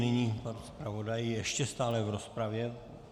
Nyní pan zpravodaj, ještě stále v rozpravě.